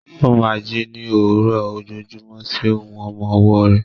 Ó máa ń jí ní òwúrọ̀ ojoojúmọ́ sí ohùn ọmọ ọwọ́ rẹ̀.